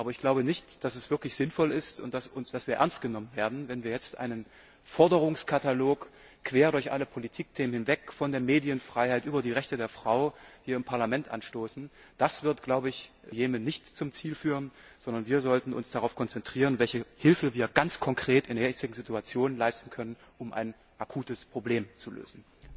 Aber ich glaube nicht, dass es wirklich sinnvoll ist und dass wir ernst genommen werden, wenn wir jetzt einen Forderungskatalog quer durch alle Politikthemen von der Medienfreiheit über die Rechte der Frau hier im Parlament anstoßen. Das wird im Jemen nicht zum Ziel führen, sondern wir sollten uns darauf konzentrieren, welche Hilfe wir ganz konkret in der jetzigen Situation leisten können, um ein akutes Problem zu lösen.